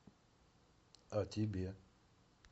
а тебе